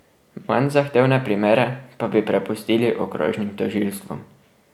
Manj zahtevne primere pa bi prepustili okrožnim tožilstvom.